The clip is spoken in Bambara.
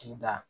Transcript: K'i da